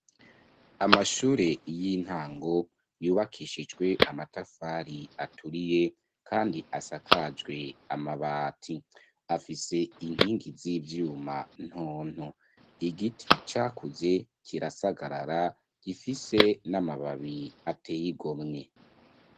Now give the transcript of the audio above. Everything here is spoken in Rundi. Amashure y'intango yubakishijwe amatafari aturiye kandi asakajwe amabati afise inkingi z'ivyuma ntonto igiti cakuze kirasagarara gifise n'amababi ateye igomwe.